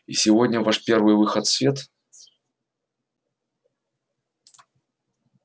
и сегодня ваш первый выход в свет